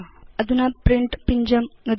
अधुना प्रिंट पिञ्जं नुदतु